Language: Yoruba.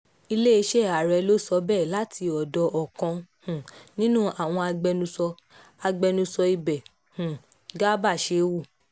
iléeṣẹ́ ààrẹ ló sọ bẹ́ẹ̀ láti ọ̀dọ̀ ọkàn um nínú àwọn agbẹnusọ agbẹnusọ ibẹ̀ um garba shehu